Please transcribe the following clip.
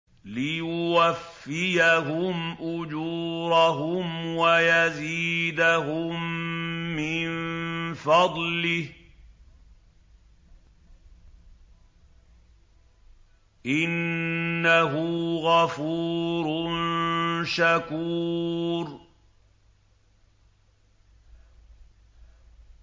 لِيُوَفِّيَهُمْ أُجُورَهُمْ وَيَزِيدَهُم مِّن فَضْلِهِ ۚ إِنَّهُ غَفُورٌ شَكُورٌ